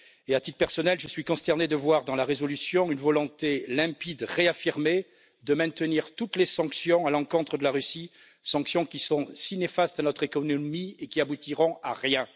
À titre personnel, je suis consterné de voir dans la résolution une volonté limpide, réaffirmée de maintenir toutes les sanctions à l'encontre de la Russie, sanctions qui sont si néfastes à notre économie et qui n'aboutiront à rien.